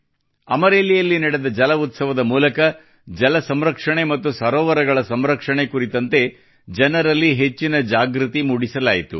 ಅಮರೇಲಿಯಲ್ಲಿ ನಡೆದ ಜಲ ಉತ್ಸವ ದ ಮೂಲಕ ಜಲ ಸಂರಕ್ಷಣೆ ಮತ್ತು ಸರೋವರಗಳ ಸಂರಕ್ಷಣೆ ಕುರಿತಂತೆ ಜನರಲ್ಲಿ ಹೆಚ್ಚಿನ ಜಾಗೃತಿ ಮೂಡಿಸಲಾಯಿತು